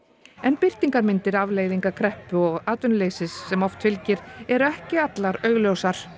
birtingarmyndir afleiðinga kreppu og atvinnuleysis sem oft fylgir eru ekki allar augljósar